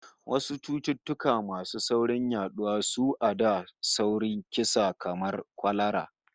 Wasu cututtuka masu sauri yaduwa sua da sauri kisa kamar kwalara